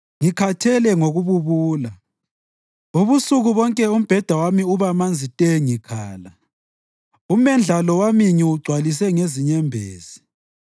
Ngikhathele ngokububula; ubusuku bonke umbheda wami uba manzi te ngikhala umendlalo wami ngiwugcwalise ngezinyembezi.